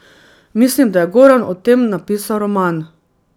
Mislim, da je Goran o tem napisal roman.